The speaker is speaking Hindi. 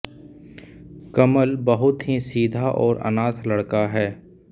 कमल बहुत ही सीधा और अनाथ लड़का है